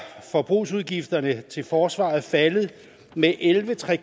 forbrugsudgifterne til forsvaret faldet med elleve tre